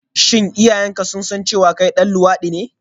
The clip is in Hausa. Shin iyayenka sun san cewa kai ɗan luwaɗi ne?